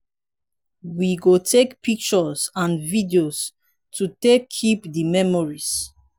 we go take pictures and video to take keep di memories